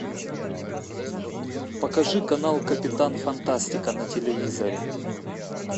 покажи канал капитан фантастика на телевизоре